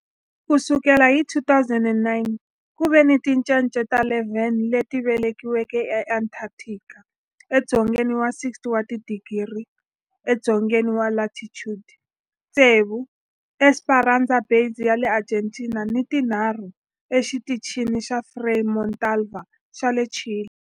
Ku sukela hi 2009, ku ve ni tincece ta 11 leti velekiweke eAntarctica, edzongeni wa 60 wa tidigri edzongeni wa latitude, tsevu eEsperanza Base ya le Argentina ni tinharhu eXitichini xa Frei Montalva xa le Chile.